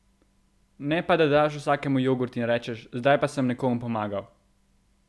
Ne pa da daš vsakemu jogurt in rečeš: 'Zdaj pa sem nekomu pomagal'!